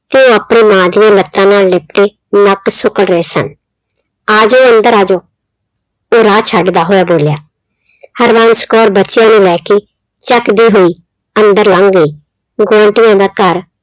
ਤੇ ਉਹ ਆਪਣੀਆ ਮਾਂ ਦਾ ਲੱਤਾਂ ਨਾਲ ਲਿਪਟ ਕੇ, ਨੱਕ ਸੁੱਕ ਗਏ ਸਨ। ਆਜੋ ਅੰਦਰ ਆਜੋ, ਉਹ ਰਾਹ ਛੱਡਦਾ ਹੋਇਆ ਬੋਲਿਆ, ਹਰਬੰਸ ਕੌਰ ਬੱਚਿਆਂ ਨੂੰ ਲੈ ਕੇ ਚੱਕਦੇ ਹੋਈ ਅੰਦਰ ਲੰਘ ਆਈ ਦਾ ਘਰ